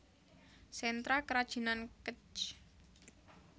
Sentra Kerajinan Kec